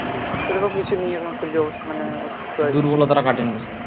দুর্বলতাটা কাটেনি